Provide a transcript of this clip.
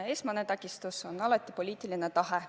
Esmane takistus on alati poliitiline tahe.